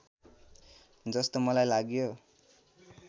जस्तो मलाई लाग्यो